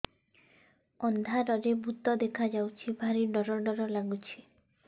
ଅନ୍ଧାରରେ ଭୂତ ଦେଖା ଯାଉଛି ଭାରି ଡର ଡର ଲଗୁଛି